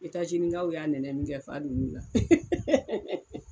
Itazinikaw y'a nɛnɛ min kɛ fa donn'ula